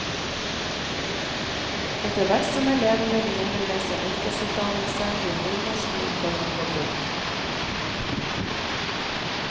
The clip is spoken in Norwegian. Etter hvert som elevene begynner med sin yrkesutdannelse, blir nynorsk mindre og mindre brukt.